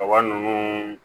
Kaba ninnu